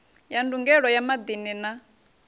ya ndugelo ya maḓini na